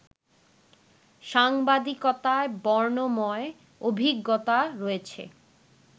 সাংবাদিকতায় বর্ণময় অভিজ্ঞতা রয়েছে